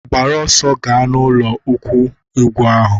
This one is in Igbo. Gbara ọsọ ga ọnụ ụlọ ukwe ugbu a!